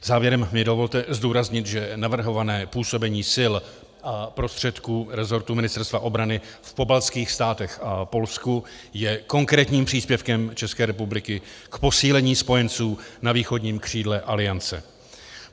Závěrem mi dovolte zdůraznit, že navrhované působení sil a prostředků rezortu Ministerstva obrany v pobaltských státech a Polsku je konkrétním příspěvkem České republiky k posílení spojenců na východním křídle Aliance.